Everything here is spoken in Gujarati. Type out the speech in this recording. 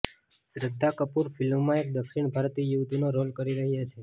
શ્રદ્ધા કપૂર ફિલ્મમાં એક દક્ષિણ ભારતીય યુવતીનો રોલ કરી રહ્યાં છે